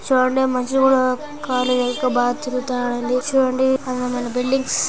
చూడండి మనుషులు కూడా ఖాళీగా ఒక బాబు తిరుగుతున్నాడు అండి. చూడండి అవి మన భిడ్లింగ్స్ .